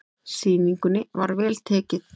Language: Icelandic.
Sýningunni var vel tekið.